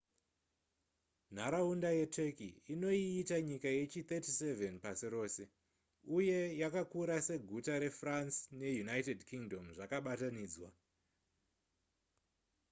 nharaunda yeturkey inoiita nyika yechi37 pasi rose uye yakakura seguta refrance neunited kingdom zvakabatanidzwa